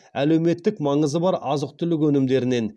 әлеуметтік маңызы бар азық түлік өнімдерін